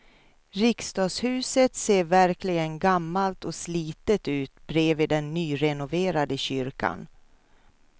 Riksdagshuset ser verkligen gammalt och slitet ut bredvid den nyrenoverade kyrkan.